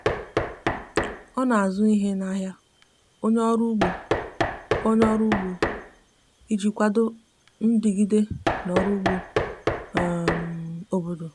ọ na azụ ihe na ahia onye ọrụ ụgbo onye ọrụ ụgbo iji kwado ndigide na ọrụ ụgbọ um obodo.